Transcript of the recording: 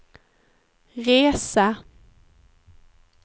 resa